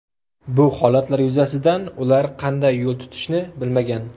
Bu holatlar yuzasidan ular qanday yo‘l tutishni bilmagan.